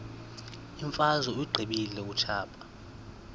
imfazwe uyiqibile utshaba